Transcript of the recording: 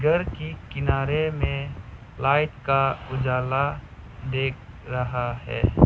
घर के किनारे में लाइट का उजाला देख रहा है।